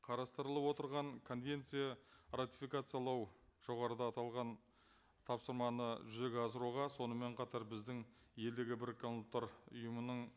қарастырылып отырған конвенция ратификациялау жоғарыда аталған тапсырманы жүзеге асыруға сонымен қатар біздің елдегі біріккен ұлттар ұйымының